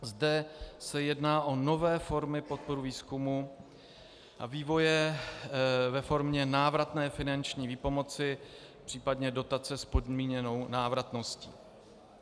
Zde se jedná o nové formy podpory výzkumu a vývoje ve formě návratné finanční výpomoci, případně dotace s podmíněnou návratností.